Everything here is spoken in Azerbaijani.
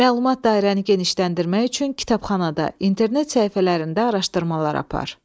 Məlumat dairəni genişləndirmək üçün kitabxanada, internet səhifələrində araşdırmalar apar.